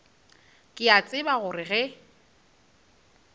ke a tseba gore ge